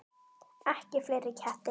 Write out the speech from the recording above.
Ekki fleiri ketti.